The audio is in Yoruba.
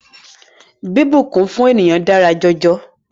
Bíbùnkún fún ènìyàn dára jọjọ.